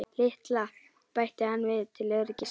LITLA, bætti hann við til öryggis.